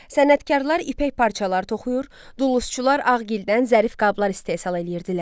Sənətkarlar ipək parçalar toxuyur, duluzçular ağ gildən zərif qablar istehsal eləyirdilər.